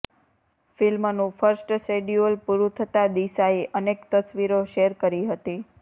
ફિલ્મનું first schedule પુરું થતાં દિશાએ અનેક તસવીરો શેર કરી હતી